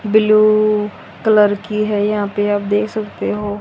blue colour की है यहां पे आप देख सकते हो--